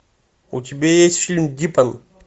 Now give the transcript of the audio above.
у тебя есть фильм дипан